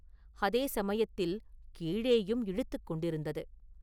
அதே சமயத்தில் கீழேயும் இழுத்துக் கொண்டிருந்தது.